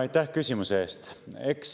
Aitäh küsimuse eest!